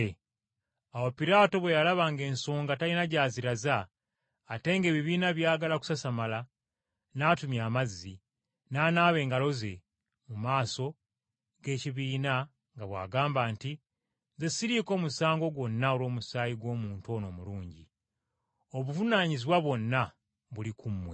Awo Piraato bwe yalaba ng’ensoga talina gy’aziraza, ate ng’ebibiina byagala kusasamala, n’atumya amazzi, n’anaaba engalo ze mu maaso g’ekibiina nga bw’agamba nti, “Nze siriiko musango gwonna olw’omusaayi gw’omuntu ono omulungi. Obuvunaanyizibwa bwonna buli ku mmwe!”